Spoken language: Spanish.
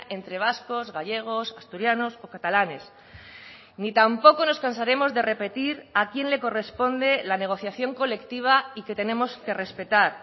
entre vascos gallegos asturianos o catalanes ni tampoco nos cansaremos de repetir a quién le corresponde la negociación colectiva y que tenemos que respetar